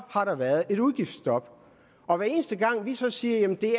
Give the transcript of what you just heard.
har været et udgiftsstop og hver eneste gang vi så siger at jamen det